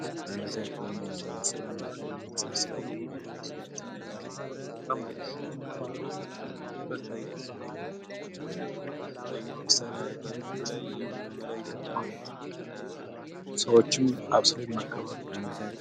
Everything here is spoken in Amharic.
ይህ ማህበረሰቦች አንድ ላይ በመሆን ሰዎች ተሰብስበው ምግብ የሚያነሱበት እና የሚመገቡበት ፕሮግራም ነው አቅርቦቱ ማህበረ ማህበራዊ ግንኙነት ያጠናክራል ለምሳሌ የተለያዩ አገልግሎቶችንም ይለዋውጣል ሰዎችም ተሰብስበው ይመገባሉ።